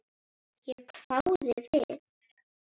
Ég hváði við.